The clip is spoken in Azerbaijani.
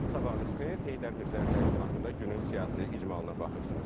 Sabahınız xeyir, Heydər Mirzənin təqdimatında günün siyasi icmalına baxırsınız.